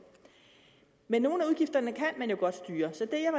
men nogle af udgifterne kan man jo godt styre så det jeg